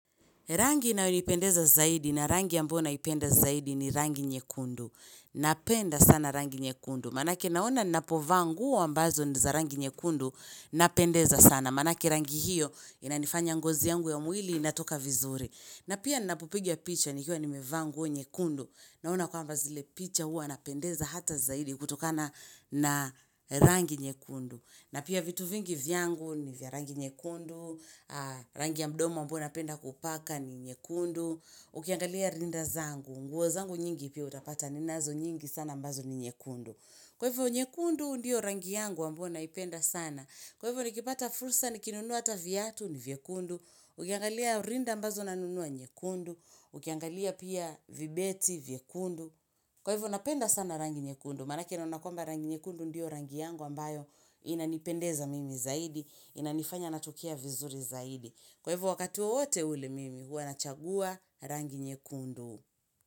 Rangi inayo nipendeza zaidi na rangi ambona ipenda zaidi ni rangi nyekundu. Napenda sana rangi nyekundu. Manake naona napovaanguo ambazo ni za rangi nye kundu napendeza sana. Manake rangi hiyo inanifanya ngozi yangu ya umwili inatoka vizuri. Na pia napopiga picha nikua nime vaa nguo nyekundu. Naona kwamba zile picha hua napendeza hata zaidi kutokana na rangi nyekundu. Na pia vitu vingi vyangu ni vya rangi nyekundu, rangi ya mdomo ambao na penda kupaka ni nyekundu, ukiangalia rinda zangu, nguwa zangu nyingi ipia utapata ninazo nyingi sana mbazo ni nyekundu. Kwa hivyo nyekundu ndio rangi yangu ambao naipenda sana, kwa hivyo nikipata fursa nikinunuata vyatu ni vyekundu, ukiangalia rinda mbazo nanunuwa nyekundu, ukiangalia pia vibeti vyekundu. Kwa hivyo, napenda sana rangi nyekundu. Manake naunakwamba rangi nyekundu ndio rangi yangu ambayo inanipendeza mimi zaidi, inanifanya natukia vizuri zaidi. Kwa hivyo, wakatuwa wote ule mimi, huwa nachagua rangi nyekundu.